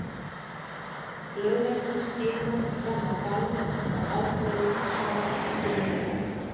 Lögreglan skimar fram á gang og ákveður að svara ekki neinu.